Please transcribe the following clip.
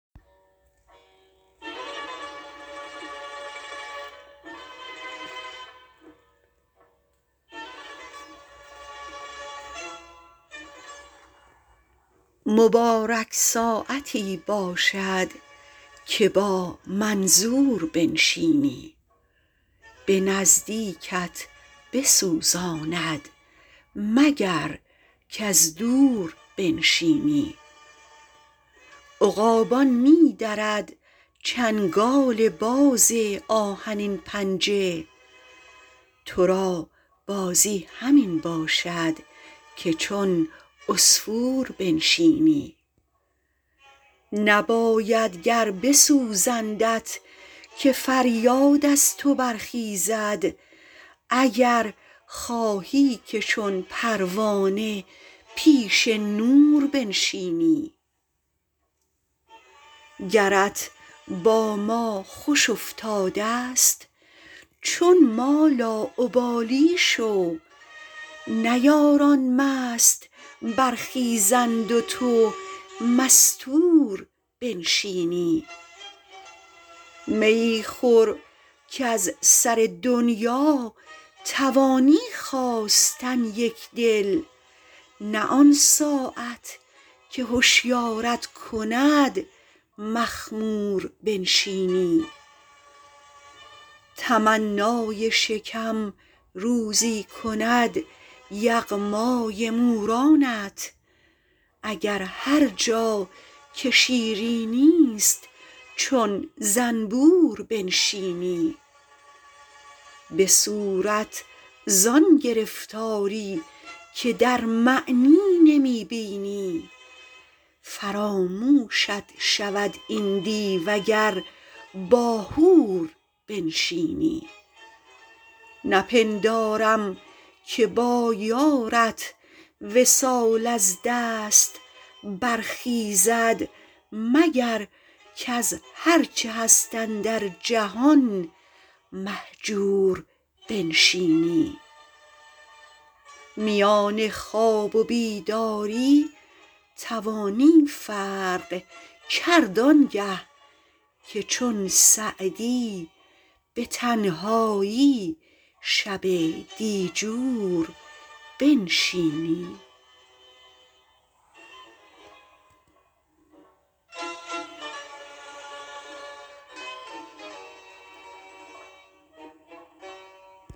مبارک ساعتی باشد که با منظور بنشینی به نزدیکت بسوزاند مگر کز دور بنشینی عقابان می درد چنگال باز آهنین پنجه تو را بازی همین باشد که چون عصفور بنشینی نباید گر بسوزندت که فریاد از تو برخیزد اگر خواهی که چون پروانه پیش نور بنشینی گرت با ما خوش افتاده ست چون ما لاابالی شو نه یاران مست برخیزند و تو مستور بنشینی میی خور کز سر دنیا توانی خاستن یکدل نه آن ساعت که هشیارت کند مخمور بنشینی تمنای شکم روزی کند یغمای مورانت اگر هر جا که شیرینی ست چون زنبور بنشینی به صورت زآن گرفتاری که در معنی نمی بینی فراموشت شود این دیو اگر با حور بنشینی نپندارم که با یارت وصال از دست برخیزد مگر کز هر چه هست اندر جهان مهجور بنشینی میان خواب و بیداری توانی فرق کرد آنگه که چون سعدی به تنهایی شب دیجور بنشینی